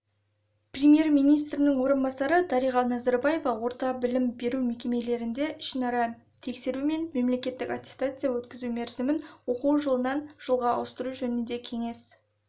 премьер-министрінің орынбасары дариға назарбаева орта білім беру мекемелерінде ішінара тексеру мен мемлекеттік аттестация өткізу мерзімін оқу жылынан жылға ауыстыру жөнінде кеңес